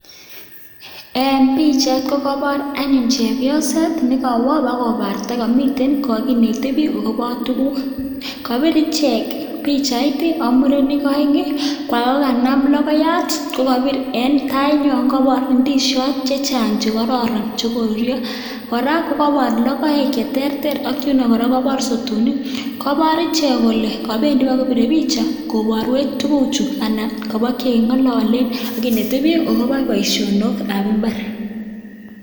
En bichait kokabar anyun chepyoset nekawaa kobarta komamiten kokakinete akoba tuguk akibir ichek bichait amurenik aeng kokaname logoiyat kokabir en tainywan kokabar indishit chechang chekororon chekorurio koraa kokabar logoek cheterter ak koraa kokabar sotonik kokabar ichek Kole Kabir kobiren bichait kobareek tuguchu anan kabakengololen akimete bik akoba baishonok ab imbar